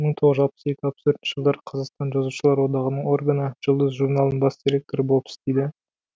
мың тоғыз жүз алпыс екі алпыс төртінші жылдары қазақстан жазушылар одағының органы жұлдыз журналының бас директоры болып істейді